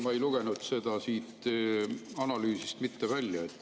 Ma ei lugenud seda siit analüüsist mitte välja.